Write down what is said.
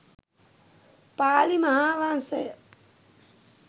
Pali Mahavamsa